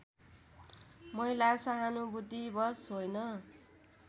महिला सहानुभूतिवश होइन